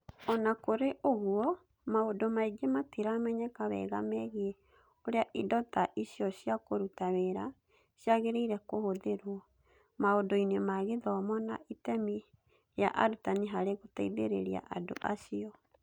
O na kũrĩ ũguo, maũndũ maingĩ matiramenyeka wega megiĩ ũrĩa indo ta icio cia kũruta wĩra ciagĩrĩire kũhũthĩrũo maũndũ-inĩ ma gĩthomo na itemi rĩa arutani harĩ gũteithĩrĩria andũ acio.